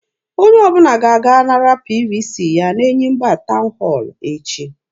Onye ọbụla ga-aga nara PVC ya n'Enyimba town hall echi.